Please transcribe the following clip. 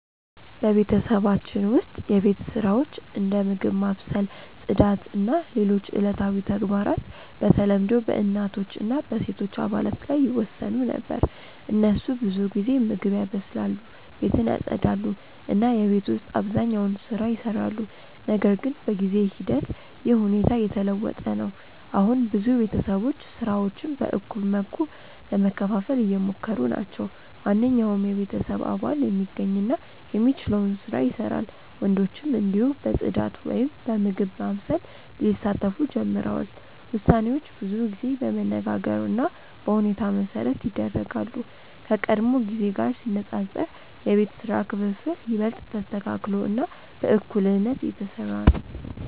በቤተሰባችን ውስጥ የቤት ስራዎች እንደ ምግብ ማብሰል፣ ጽዳት እና ሌሎች ዕለታዊ ተግባራት በተለምዶ በእናቶች እና በሴቶች አባላት ላይ ይወሰኑ ነበር። እነሱ ብዙ ጊዜ ምግብ ያበስላሉ፣ ቤትን ያጽዳሉ እና የቤት ውስጥ አብዛኛውን ስራ ይሰራሉ። ነገር ግን በጊዜ ሂደት ይህ ሁኔታ እየተለወጠ ነው። አሁን ብዙ ቤተሰቦች ስራዎችን በእኩል መልኩ ለመከፋፈል እየሞከሩ ናቸው። ማንኛውም የቤተሰብ አባል የሚገኝ እና የሚችለውን ስራ ይሰራል፣ ወንዶችም እንዲሁ በጽዳት ወይም በምግብ ማብሰል ሊሳተፉ ጀምረዋል። ውሳኔዎች ብዙ ጊዜ በመነጋገር እና በሁኔታ መሠረት ይደረጋሉ፣ ከቀድሞ ጊዜ ጋር ሲነጻጸር የቤት ስራ ክፍፍል ይበልጥ ተስተካክሎ እና በእኩልነት እየተሰራ ነው።